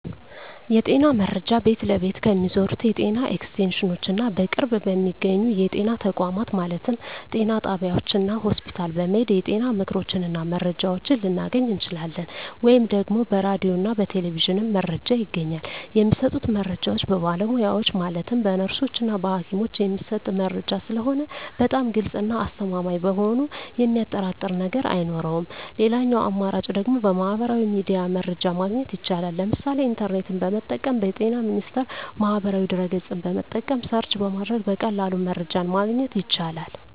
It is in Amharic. የጤና መረጃ ቤት ለቤት ከሚዞሩት የጤና ኤክስቴንሽኖች እና በቅርብ በሚገኙ የጤና ተቋማት ማለትም ጤና ጣቢያዎች እና ሆስፒታል በመሔድ የጤና ምክሮችን እና መረጃዎችን ልናገኝ እንችላለን። ወይም ደግሞ በራዲዮ እና በቴሌቪዥንም መረጃ ይገኛል። የሚሰጡት መረጃዎች በባለሙያዎች ማለትም በነርሶች እና በሀኪሞች የሚሰጥ መረጂ ስለሆነ በጣም ግልፅ እና አስተማማኝ በመሆኑ የሚያጠራጥር ነገር አይኖረውም ሌላኛው አማራጭ ደግሞ በሚህበራዊ ሚዲያ መረጃ ማግኘት ይቻላል ለምሳሌ ኢንተርኔትን በመጠቀም በጤና ሚኒስቴር ማህበራዊ ድህረ ገፅን በመጠቀም ሰርች በማድረግ በቀላሉ መረጃን ማግኘት ይቻላል።